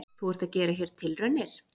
Þú ert að gera hér tilraunir?